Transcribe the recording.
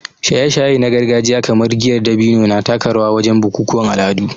Shaye-shaye na gargajiya kamar giyar dabino na taka rawa wajen bukukuwan al'adu